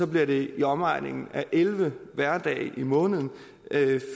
bliver det i omegnen af elleve hverdage i måneden